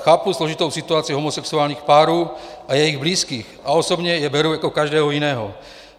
Chápu složitou situaci homosexuálních párů a jejich blízkých a osobně je beru jako každého jiného.